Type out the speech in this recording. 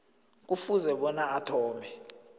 kufuze bona athome